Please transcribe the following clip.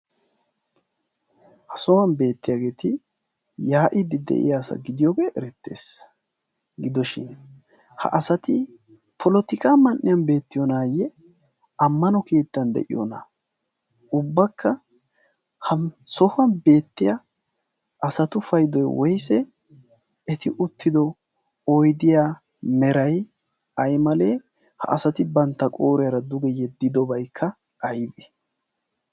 ha sohuwan beettiyaageeti yaa'iiddi de'iya asa gidiyoogee erettees. gidoshin ha asati polotika man'iyan beettiyoonaayye ammano keittan de'iyoona ubbakka ha sohuwan beettiya asatu paydoy woyse eti uttido oidiya meray aimalee ha asati bantta qooriyaara duge yeddidobaikka aybee?